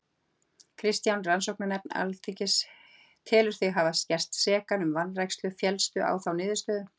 Kristján: Rannsóknarnefnd Alþingis telur þig hafa gerst sekan um vanrækslu, fellstu á þá niðurstöðu?